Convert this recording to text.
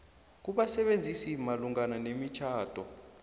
kubasebenzisi malungana nemitjhado